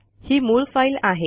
ही मूळ फाईल आहे